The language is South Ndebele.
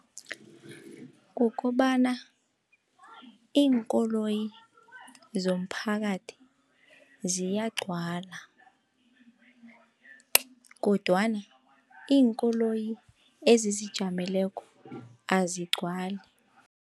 Kukobana iinkoloyi zomphakathi ziyagcwala, kodwana iinkoloyi ezizijameleko azigcwali.